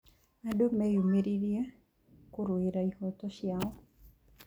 Andũ meyumĩririe kũrũĩra ihooto cio.